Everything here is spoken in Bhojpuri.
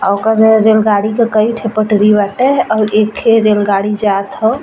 और ओकर ओई जन गाड़ी के कई ठे पटरी बाटे और एकठे रेलगाड़ी जात ह।